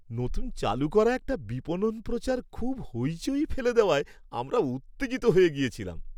নতুন চালু করা একটা বিপণন প্রচার খুব হইচই ফেলে দেওয়ায় আমরা উত্তেজিত হয়ে গেছিলাম।